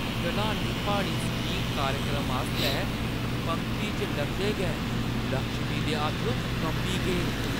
ढलानी प्हाड़ी स्कीइंग कार्यक्रम आस्तै पंगती च लगदे गै लक्ष्मी दे हत्थ कंबी गे।